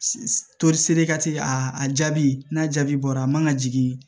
a jaabi n'a jaabi bɔra a man ka jigin